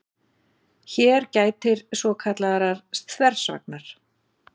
Hér gætir svokallaðrar þversagnar.